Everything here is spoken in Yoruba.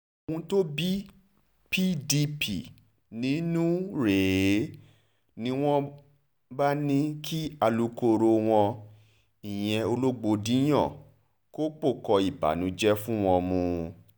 ohun tó bí pdp nínú rèé ni wọ́n wọ́n bá ní kí alukoro wọn ìyẹn ọlọ́gbọ́ndìyàn kọ́kọ́ ìbànújẹ́ fún wọn mú